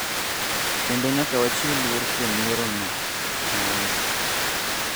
kendo nyaka wachiw luor kuom yierono, nowacho.